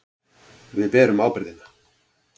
Við berum ábyrgðina.